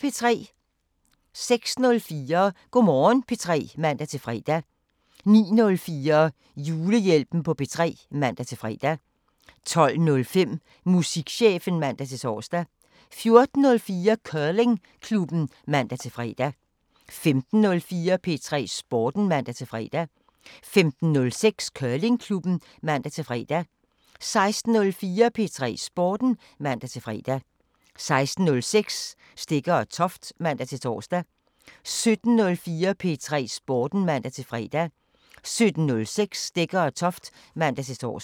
06:04: Go' Morgen P3 (man-fre) 09:04: Julehjælpen på P3 (man-fre) 12:05: Musikchefen (man-tor) 14:04: Curlingklubben (man-fre) 15:04: P3 Sporten (man-fre) 15:06: Curlingklubben (man-fre) 16:04: P3 Sporten (man-fre) 16:06: Stegger & Toft (man-tor) 17:04: P3 Sporten (man-fre) 17:06: Stegger & Toft (man-tor)